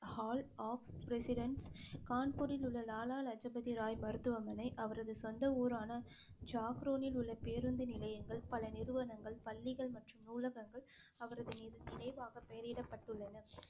hall of presidents கான்பூரில் உள்ள லாலா லஜபதி ராய் மருத்துவமனை அவரது சொந்த ஊரான ஜாக்ரோனில் உள்ள பேருந்து நிலையங்கள், பல நிறுவனங்கள், பள்ளிகள் மற்றும் நூலகங்கள் அவரது நினைவாக பெயரிடப்பட்டுளன